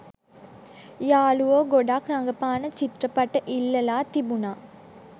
යාළුවො ගොඩක් රඟපාන චිත්‍රපට ඉල්ලලා තිබුනා